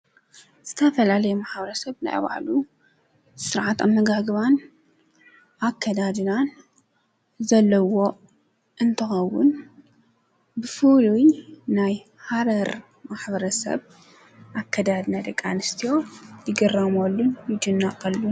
ዝተፈለለየ ማሕረሰብ ናይ ባዕሉ ስርዓት ኣመጋግባን ኣከዳድናን ዘለዎ እንትኸውን ብፍሉይ ናይ ሃረር ማሕረሰብ ኣከዳድና ደቂኣንስትዮ ይግረመሉን ይድነቐሉን።